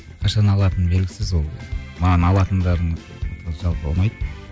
қашан алатыным белгісіз ол маған алатындарының жалпы ұнайды